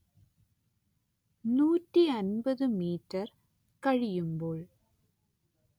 നൂറ്റി അന്‍പത്ത് മീറ്റർ കഴിയുമ്പോൾ